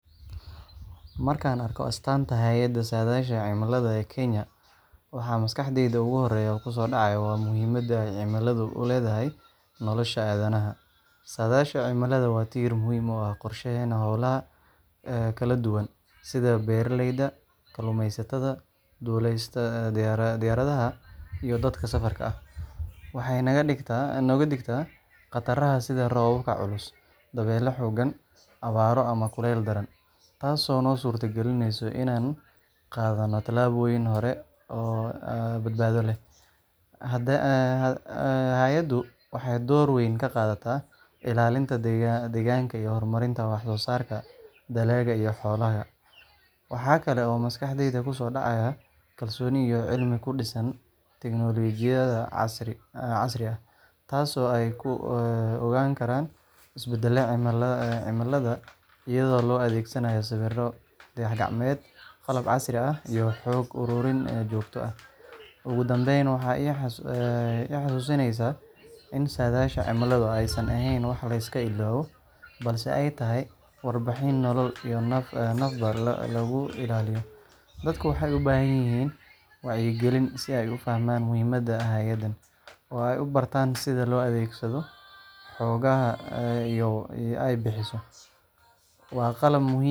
Markaan arko astaanta hay’adda saadaasha cimilada ee Kenya, waxa maskaxdayda ugu horreeya ku soo dhacaya waa muhiimadda ay cimiladu u leedahay nolosha aadanaha. Saadaasha cimilada waa tiir muhiim u ah qorsheynta hawlaha kala duwan sida beeralayda, kalluumeysatada, duulista diyaaradaha iyo dadka safarka ah. Waxay naga digtaa khataraha sida roobab culus, dabeylo xooggan, abaaro ama kuleyl daran, taasoo noo suurtagelisa inaan qaadanno tallaabooyin hore oo badbaado leh. Hay’addu waxay door weyn ka qaadataa ilaalinta deegaanka iyo horumarinta wax soo saarka dalagga iyo xoolaha. Waxaa kale oo maskaxdayda ku soo dhacaya kalsooni iyo cilmi ku dhisan tignoolajiyad casri ah, taasoo ay ku ogaan karaan isbeddellada cimilada iyadoo loo adeegsanayo sawirro dayax-gacmeed, qalab casri ah iyo xog uruurin joogto ah. Ugu dambayn, waxay i xasuusinaysaa in saadaasha cimiladu aysan ahayn wax la iska ilaawo, balse ay tahay warbixin nolol iyo nafba lagu ilaaliyo. Dadku waxay u baahan yihiin wacyigelin si ay u fahmaan muhiimadda hay’addan, oo ay u bartaan sida loo adeegsado xogaha ay bixiso. Waa qalab muhiim.